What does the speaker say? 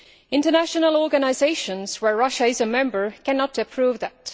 International organisations of which Russia is a member cannot approve that.